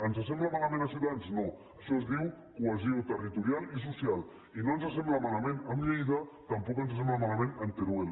ens sembla malament a ciutadans no això es diu cohesió territorial i social i no ens sembla malament amb lleida tampoc ens sembla malament amb teruel